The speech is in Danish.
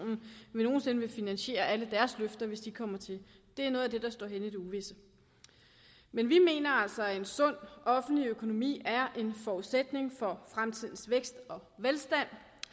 nogen sinde vil finansiere alle deres løfter hvis de kommer til det er noget af det der står hen i det uvisse men vi mener altså at en sund offentlig økonomi er en forudsætning for fremtidens vækst og velstand